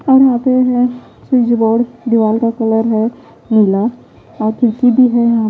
और यहाँ पे है स्विच बोर्ड दीवार का कलर है नीला और फिरकी भी है यहाँ --